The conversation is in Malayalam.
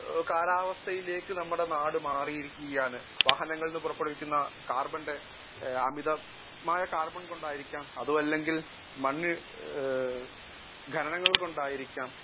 സ്പീക്കർ 1 കാലാവസ്ഥയിലേക്ക് നമ്മുടെ നാട് മാറിയിരിക്കുകയാണ്. അമിതമായ കാർബൺ കൊണ്ടായിരിക്കാം അല്ലെങ്കിൽ മണ്ണിടിച്ചിൽ ഖനനം കൊണ്ടായിരിക്കാം